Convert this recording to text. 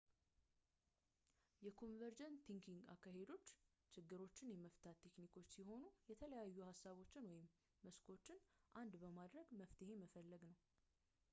የconvergent thinking አካሄዶች ችግሮችን የመፍታት ቴክኒኮች ሲሆኑ የተለያዩ ሀሳቦች ወይም መስኮችን አንድ በማድረግ መፍትሄ መፈለግ ነው